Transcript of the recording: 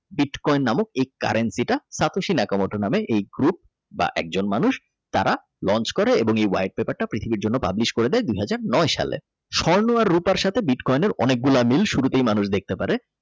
Bitcoin coin নামক এই currency টা তাতোসি ন্যাকা মোটা নামে এক গ্রুপ বা একজন মানুষ তারা Launch করে এবং White paper টা পৃথিবীর জন্য Publish করে দেয় দুই হাজার নয় সালে স্বর্ণ এবং রুপার সাথে বিটকয়েন অনেকগুলা মিল শুরুতেই মানুষ দেখতে পারে।